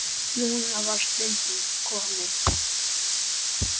Núna var stundin komin.